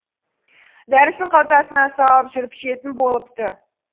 дәрісін қалтасына салып жүріп ішетін болыпты